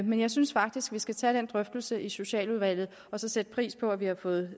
men jeg synes faktisk vi skal tage den drøftelse i socialudvalget og så sætte pris på at vi har fået